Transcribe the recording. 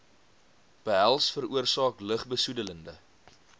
behels veroorsaak lugbesoedelende